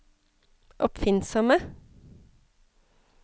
oppfinnsomme